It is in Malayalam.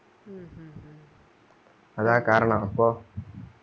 അതാ കാരണം അപ്പൊ word